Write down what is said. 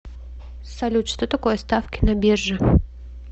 салют что такое ставки на бирже